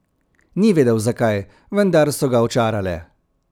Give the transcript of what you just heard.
Ni vedel zakaj, vendar so ga očarale.